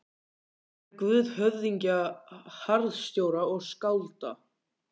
Hann væri guð höfðingja, harðstjóra og skálda.